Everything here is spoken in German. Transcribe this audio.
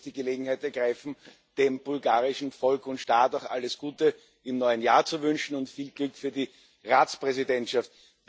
Ich möchte zunächst die Gelegenheit ergreifen, dem bulgarischen Volk und Staat alles Gute im neuen Jahr zu wünschen und viel Glück für die Ratspräsidentschaft.